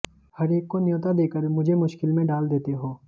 हरेक को न्यौता देकर मुझे मुश्किल में डाल देते हो